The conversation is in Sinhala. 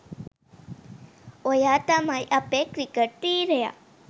ඔයා තමයි අපේ ක්‍රික‍ට් වීරයා